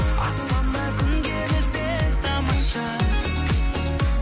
аспанда күн керілсе тамаша